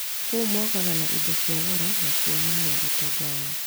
Kũu mokaga na indo cia goro na kuonania ũtonga wao